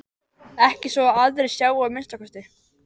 Ekki svo að aðrir sjái að minnsta kosti.